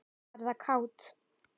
Verða kát.